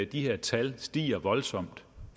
de her tal stiger voldsomt